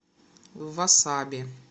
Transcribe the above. васаби